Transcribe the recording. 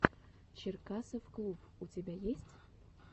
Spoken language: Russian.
черкасовклуб у тебя есть